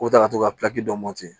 Ko ta ka to ka mɔti